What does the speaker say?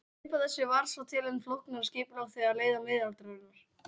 Upp af þessu varð svo til enn flóknara skipulag þegar leið á miðaldirnar.